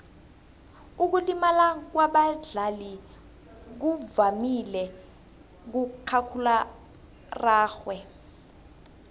ukulimala kwabadlali kuvamile kumakhakhulararhwe